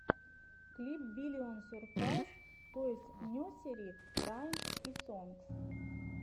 клип биллион сюрпрайз тойс несери раймс и сонгс